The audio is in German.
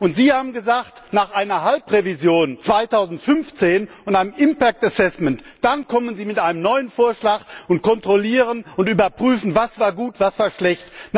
Und Sie haben gesagt, nach einer Halbzeitrevision 2015 und einer Folgenabschätzung kommen Sie mit einem neuen Vorschlag und kontrollieren und überprüfen, was war gut, was war schlecht.